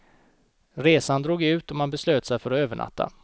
Resan drog ut, och man beslöt sig för att övernatta.